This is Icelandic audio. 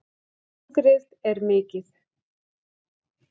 Hungrið er mikið